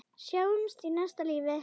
Sjáumst í næsta lífi.